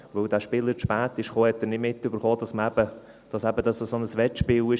Weil dieser Spieler zu spät kam, hatte er eben nicht mitbekommen, dass dies so ein Wettspiel war.